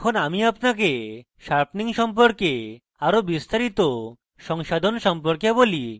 এখন আমি আপনাকে sharpening সম্পর্কে আরো বিস্তারিত সংসাধন সম্পর্কে বলি